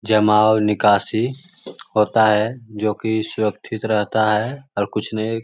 जमा और निकासी होता है जो की सुरक्षित रहता है और कुछ नहीं --